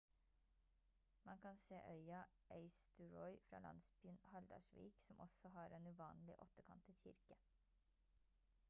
man se øya eysturoy fra landsbyen haldarsvík som også har en uvanlig åttekantet kirke